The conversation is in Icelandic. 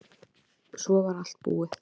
Svo var allt búið.